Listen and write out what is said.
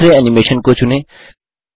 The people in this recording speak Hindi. दूसरे एनिमेशन को चुनें